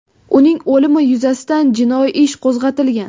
Uning o‘limi yuzasidan jinoiy ish qo‘zg‘atilgan.